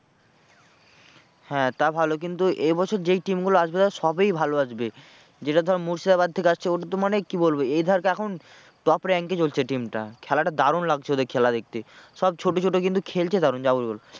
হ্যাঁ তা ভালো কিন্তু এ বছর যেই team গুলো আসবে ধর সবই ভালো আসবে। যেটা ধর মুর্শিদাবাদ থেকে আসছে ওটাতো মানে কি বলবোএই ধর এখন top rank এ চলছে team টা। খেলাটা দারুন লাগছে ওদের খেলা দেখতে সব ছোটো ছোটো কিন্তু খেলছে দারুন যা বলবি বল।